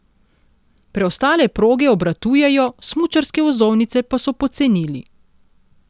Preostale proge obratujejo, smučarske vozovnice pa so pocenili.